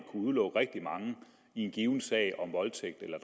udelukke rigtig mange i en given sag om voldtægt eller